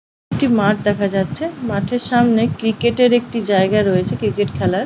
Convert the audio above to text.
একটি মাঠ দেখা যাচ্ছে মাঠের সামনে ক্রিকেট এর একটি জায়গা রয়েছে ক্রিকেট খেলার।